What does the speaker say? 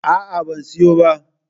A'a, ban siyo ba.